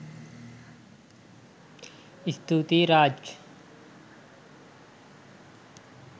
ස්තුතියි රාජ්